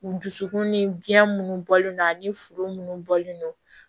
U dusukun ni biyɛn minnu bɔlen don ani furu munnu bɔlen don